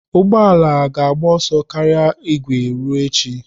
Ụgbọ ala ga-agba ọsọ karịa igwe ruo echi.